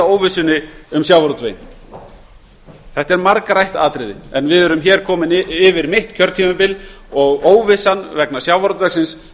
óvissunni um sjávarútveginn það er margrætt atriði en við erum komin fram yfir mitt kjörtímabil og óvissan vegna sjávarútvegsins